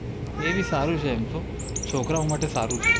એ ભી સારું છે એમ તો, છોકરાઓ માટે સારું છે